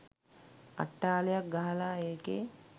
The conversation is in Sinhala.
අට්ටාලයක් ගහලා ඒකේ